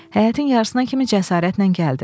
Həyətin yarısına kimi cəsarətlə gəldi.